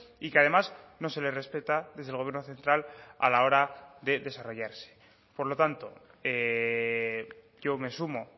y que además no se le respeta desde el gobierno central a la hora de desarrollarse por lo tanto yo me sumo